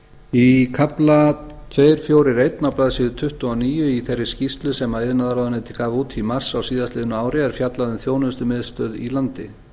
í kafla tveir fjörutíu og eitt á blaðsíðu tuttugu og níu í þeirri skýrslu sem iðnaðarráðuneytið gaf út í mars á síðastliðnu ári er fjallað um þjónustumiðstöð í landi